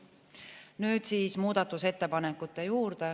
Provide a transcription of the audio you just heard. Nüüd muudatusettepanekute juurde.